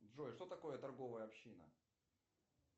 джой что такое торговая община